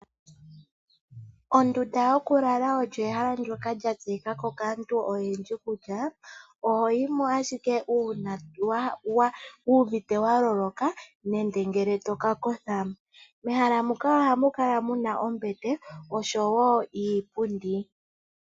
Ondunda yokulala oyo ehala ndoka lyatseyikako kaantu oyendji kutya ohoyimo ashike uuna wuuvite waloloka nenge ngele tokakotha. Mehala muka ohamu kala muna oombete nosho woo iipundi.